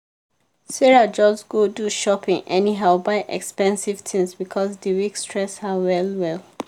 sarah just go do shopping anyhow buy expensive things because the week stress her well well.